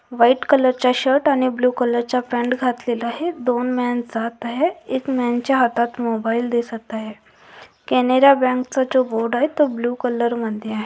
White colour चा shirt आणि blue colour चा पॅन्ट घातलेला आहे. दोन मॅन जात आहेत एक मॅन च्या हातात मोबाइल दिसत आहे. कॅनेरा बँक चा जो बोर्ड आहे तो ब्ल्यु कलर मध्ये आहे.